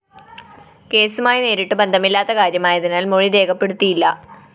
കേസുമായി നേരിട്ടു ബന്ധമില്ലാത്ത കാര്യമായതിനാല്‍ മൊഴി രേഖപ്പെടുത്തിയില്ല